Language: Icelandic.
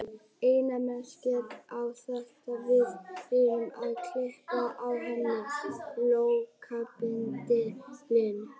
Einna mest gekk á þegar við reyndum að klippa á henni flókabendilinn.